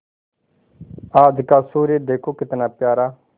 आज का सूर्य देखो कितना प्यारा